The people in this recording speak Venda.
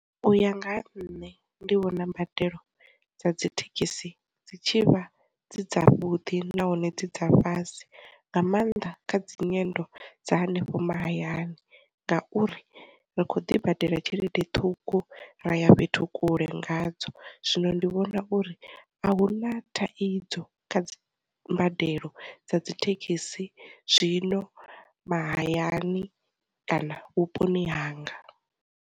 Uya nga ha nṋe, ndi vhona mbadelo dza dzithekhisi dzi tshivha dzi dza vhuḓi nahone dzi dza fhasi nga maanḓa kha dzi nyendo dza hanefho mahayani, ngauri ri kho ḓi badela tshelede ṱhukhu ra ya fhethu kule nga dzo, zwino ndi vhona uri a hu na thaidzo kha mbadelo dza dzithekhisi zwino mahayani kana vhuponi hanga.